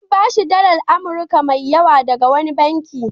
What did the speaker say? An ba shi dalar Amurka mai yawa daga wani banki.